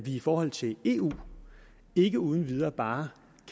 i forhold til eu ikke uden videre bare